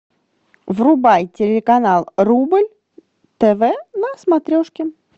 врубай телеканал рубль тв на смотрешке